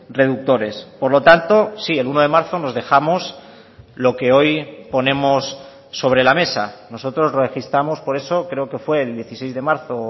reductores por lo tanto sí el uno de marzo nos dejamos lo que hoy ponemos sobre la mesa nosotros registramos por eso creo que fue el dieciséis de marzo